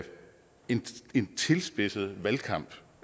en tilspidset valgkamp